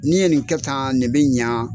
N'i ye nin kɛ tan nin bɛ ɲa